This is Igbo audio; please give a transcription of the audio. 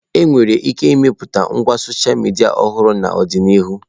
Enwere ike ịmepụta ngwa sọsha midia ọhụrụ n'ọdịnihu.